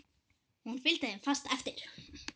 Hún fylgdi þeim fast eftir.